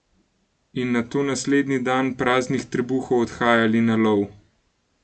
In nato naslednji dan praznih trebuhov odhajali na lov!